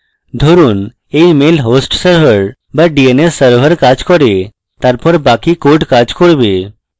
ধরুন dns mail host server বা dns server কাজ করে তারপর বাকি code কাজ করবে